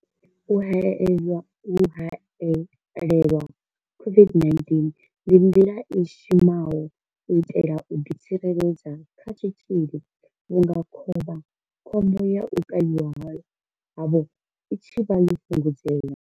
U haelelwa COVID-19 ndi nḓila i shumaho u itela u ḓi tsireledza kha tshitzhili vhunga khovhakhombo ya u kavhiwa havho i tshi vha yo fhungudzea.